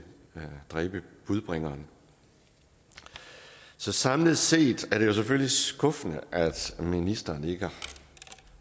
dræbe budbringeren samlet set er det selvfølgelig skuffende at ministeren ikke